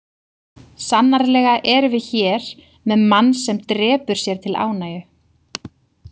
Sannarlega erum við hér með mann sem drepur sér til ánægju.